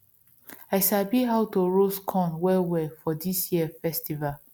i sabi how to roast corn well well for this year festival